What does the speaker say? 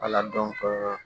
Ala dɔn ko